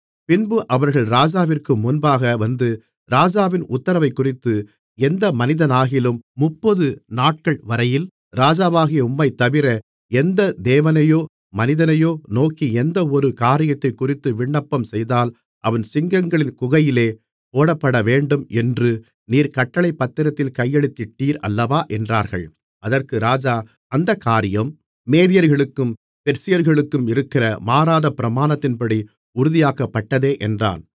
பின்பு அவர்கள் ராஜாவிற்கு முன்பாக வந்து ராஜாவின் உத்திரவைக்குறித்து எந்த மனிதனாகிலும் முப்பது நாட்கள்வரையில் ராஜாவாகிய உம்மைத்தவிர எந்த தேவனையோ மனிதனையோ நோக்கி எந்தவொரு காரியத்தைக்குறித்து விண்ணப்பம்செய்தால் அவன் சிங்கங்களின் குகையிலே போடப்படவேண்டும் என்று நீர் கட்டளைப் பத்திரத்தில் கையெழுத்திட்டீர் அல்லவா என்றார்கள் அதற்கு ராஜா அந்தக் காரியம் மேதியர்களுக்கும் பெர்சியர்களுக்கும் இருக்கிற மாறாத பிரமாணத்தின்படி உறுதியாக்கப்பட்டதே என்றான்